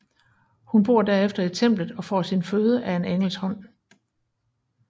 Hun bor derefter i templet og får sin føde af en engels hånd